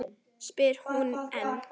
spyr hún enn.